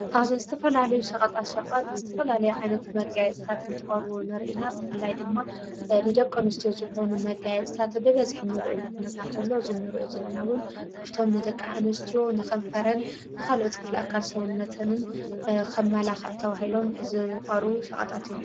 ኣብ ዝትፈላልዩ ሸቐጣት ሸቐጥ ዝትፈላለዩ ዓይነት መጋየፅታት እንትቐሩ ንርኢና ብፍላይ ድማ ንደቀ አንስትዮ ዝኾኑ መጋየፅታት ብበዝኅት ንርኢሉ ኹነታት እንተሎ ዝኑርእዮ ዘለናውን ካፍቶም ንደቃ እንስትዮ ንኸንፈረን ንኻልኦት ክፍለ አካል ሰዉነትንን ን ኸምመላኽዕ ተዉሂሎም ዝቐሩቡ ሰቐጣት እዮም::